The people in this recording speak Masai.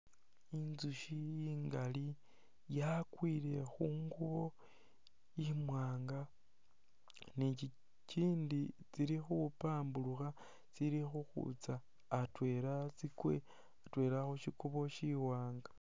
Inzushi ingali yakwile khungubo imwaanga ni tsitsindi tsili khupaburukha tsili khukhwitsa atwela tsikwe atwela khushikuubo shiwaanga